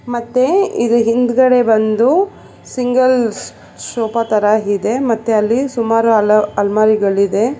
ಮತ್ತೆ ಇದರ್ ಹಿಂದಗಡೆ ಬಂದು ಸಿಂಗಲ್ ಸ್- ಸೋಫಾ ತರ ಇದೆ ಮತ್ತೆ ಅಲ್ಲಿ ಸುಮಾರು ಅಲ್ ಅಲ್ಮರಿಗಳಿದೆ.